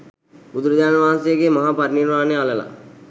බුදුරජාණන් වහන්සේ ගේ මහා පරිනිර්වාණය අළලා